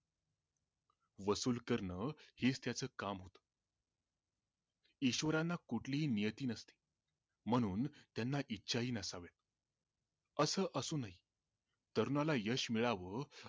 वसुल करण हेच त्याच काम होत ईश्वराला कुठलीही नियती नसते म्हणून त्यांना इच्छाही नसावी असं असूनही तरुणाला यश मिळावं